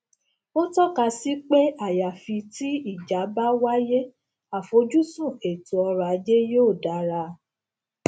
ó tọka sí pé àyàfi tí ìjà bá wáyé àfojúsùn ètò ọrọ ajé yóò dára